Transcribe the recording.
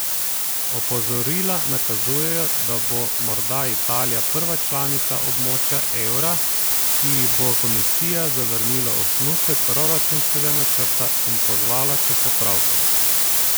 Opozorila nakazujejo, da bo morda Italija prva članica območja evra, ki ji bo komisija zavrnila osnutek proračunskega načrta in pozvala k popravkom.